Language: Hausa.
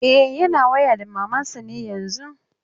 E, yana waya da maman sa ne yanzun.